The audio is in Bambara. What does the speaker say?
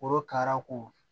Korokara ko